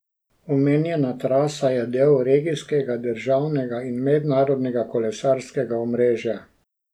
Omenjena trasa je del regijskega, državnega in mednarodnega kolesarskega omrežja.